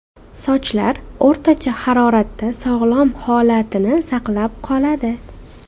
Sochlar o‘rtacha haroratda sog‘lom holatini saqlab qoladi.